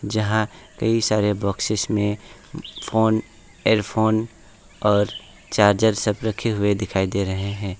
जहां कई सारे बॉक्सेस में फोन इयरफोन और चार्जर सब रखे हुए दिखाई दे रहे है।